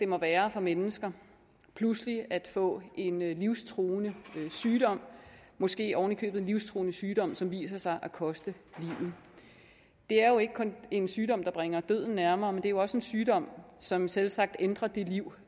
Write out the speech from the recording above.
må være for mennesker pludselig at få en livstruende sygdom måske ovenikøbet en livstruende sygdom som viser sig at koste livet det er jo ikke kun en sygdom der bringer døden nærmere men det er jo også en sygdom som selvsagt ændrer det liv